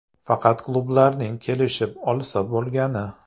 Faqat klublarning kelishib olsa bo‘lgani.